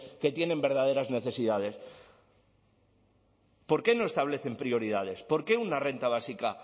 que tienen verdaderas necesidades por qué no establecen prioridades por qué una renta básica